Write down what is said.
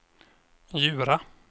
Djura